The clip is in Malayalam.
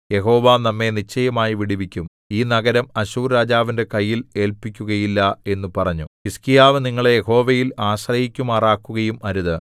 യഹോവ നമ്മെ നിശ്ചയമായി വിടുവിക്കും ഈ നഗരം അശ്ശൂർരാജാവിന്റെ കയ്യിൽ ഏല്പിക്കുകയില്ല എന്നു പറഞ്ഞു ഹിസ്കീയാവ് നിങ്ങളെ യഹോവയിൽ ആശ്രയിക്കുമാറാക്കുകയും അരുത്